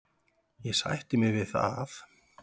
Ég sætti mig við það.